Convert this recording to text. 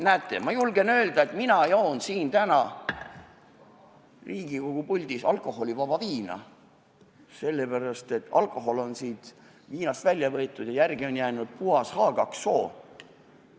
Näete, ma julgen öelda, et mina joon täna Riigikogu puldis alkoholivaba viina, sest alkohol on siit viinast välja võetud ja järele on jäänud puhas H2O.